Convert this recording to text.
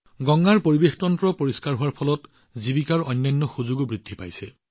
গংগাৰ পৰিৱেশতন্ত্ৰ পৰিষ্কাৰ হোৱাৰ লগতে অন্যান্য জীৱিকাৰ সুযোগো বৃদ্ধি পাইছে